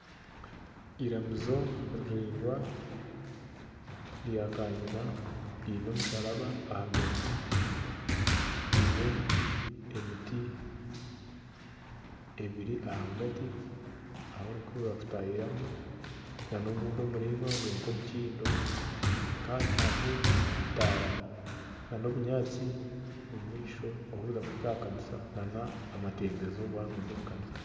Iramizo riraingwa rya kanyina ryine omusharaba ahagati ryine emiti ebiri ahagati ahu barikutahiramu na n'ogundi muraingwa guri nka omukindo kandi hariho ebitaara na n'obunyaatsi omu maisho orikuza kuhika aha kanisa nana amatembezo waaba nooza omu kanisa.